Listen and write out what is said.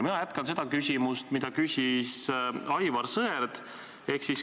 Mina jätkan seda küsimust, mida küsis Aivar Sõerd.